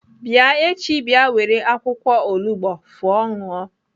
Bịa echi bịa were akwụkwọ olugbo fụọ ṅụọ!